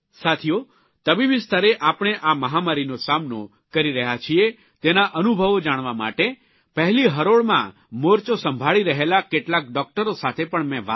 સાથીઓ તબીબી સ્તરે આપણે આ મહામારીનો સામનો કરી રહ્યા છીએ તેના અનુભવો જાણવા માટે પહેલી હરોળમાં મોરચો સંભાળી રહેલા કેટલાક ડૉકટરો સાથે પણ મેં વાત કરી